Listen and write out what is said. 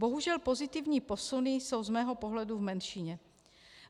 Bohužel pozitivní posuny jsou z mého pohledu v menšině.